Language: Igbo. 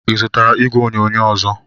Ị zụtara igwe onyonyo ọzọ?